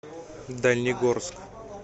дальнегорск